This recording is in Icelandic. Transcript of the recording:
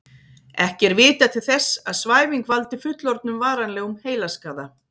Ekki er vitað til þess að svæfing valdi fullorðnum varanlegum heilaskaða.